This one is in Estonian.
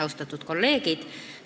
Austatud kolleegid!